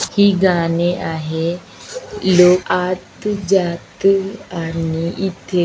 ही गाणे आहे लोग आत जात आणि इथे --